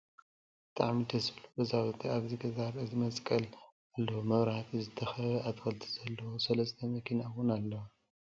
ብጣዕሚ ደስ ዝብል ገዛውቲ ኣብቲ ገዛ ርእሲ መስቀል ኣልዎ ብመብራህቲ ዝተከበበ ፣ ኣትክልቲ ዘለውዎ ፣ አለስተ መኪና እውን ኣለዋ ።